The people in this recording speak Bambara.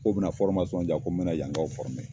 Ko bina fɔrimasɔn diyan ko n bena yankaw fɔrime